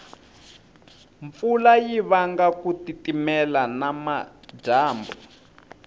mpfula yivanga kutitimela namajambu